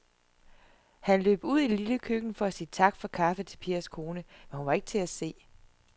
Han løb ud i det lille køkken for at sige tak for kaffe til Pers kone, men hun var ikke til at se.